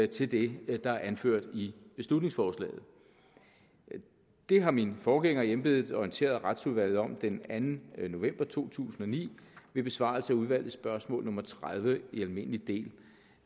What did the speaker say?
til det der er anført i beslutningsforslaget det har min forgænger i embedet orienteret retsudvalget om den anden november to tusind og ni ved besvarelse af udvalgets spørgsmål nummer tredive i almindelig del